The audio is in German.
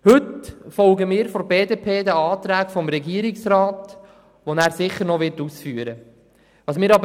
Heute folgen wir von der BDP den Anträgen des Regierungsrats, die diese sicher noch ausführen wird.